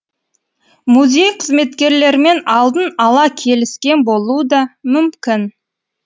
музей қызметкерлерімен алдын ала келіскен болуы да мүмкін